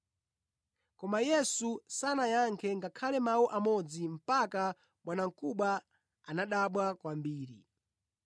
Koma Yesu sanayankhe ngakhale mawu amodzi mpaka bwanamkubwa anadabwa kwambiri.